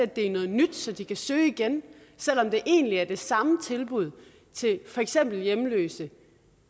det er noget nyt så de kan søge igen selv om det egentlig er det samme tilbud til for eksempel hjemløse